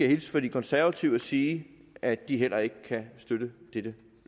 hilse fra de konservative og sige at de heller ikke kan støtte dette